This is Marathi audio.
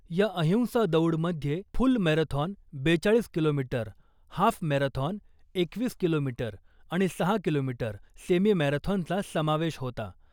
या अहिंसा दौडमध्ये फुल मेराथॉन बेचाळीस किलोमीटर , हाफ मेराथॉन एकवीस किलोमीटर , आणि सहा किलोमीटर सेमी मेराथॉनचा समावेश होता .